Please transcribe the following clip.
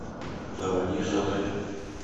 заводи селфи